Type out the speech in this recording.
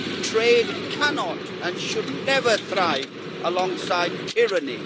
Trade cannot and should never thrive alongside tyranny.